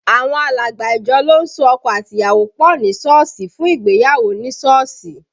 Àwọn alàgbà ìjọ ló ń so ọkọ àti ìyàwó pọ ní Sọ́ọ̀sì fún ìgbéyàwó ní Sọ́ọ̀sì